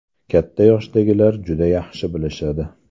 Katta yoshdagilar juda yaxshi bilishadi.